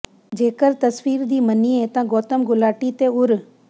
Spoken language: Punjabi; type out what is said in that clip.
ਜੇਕਰ ਤਸਵੀਰ ਦੀ ਮੰਨੀਏ ਤਾਂ ਗੌਤਮ ਗੁਲਾਟੀ ਤੇ ਉਰ